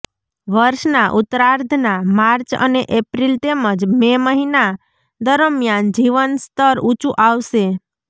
વર્ષના ઉત્તરાર્ધના માર્ચ અને એપ્રિલ તેમજ મે મહિના દરમિયાન જીવનસ્તર ઉંચુ આવશે